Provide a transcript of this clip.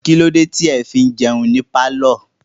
Kílódé tí ẹ fi ń jẹun ní pálọ̀?